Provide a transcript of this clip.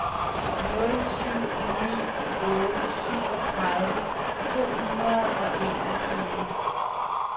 nul syv ni otte syvogtredive to hundrede og enogtyve